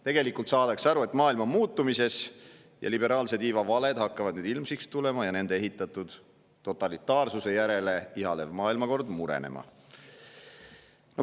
Tegelikult saadakse aru, et maailm on muutumises ning liberaalse tiiva valed hakkavad nüüd ilmsiks tulema ja nende totalitaarsuse järele ihaledes ehitatud maailmakord murenema.